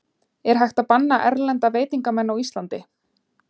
Er hægt að banna erlenda veitingamenn á Íslandi?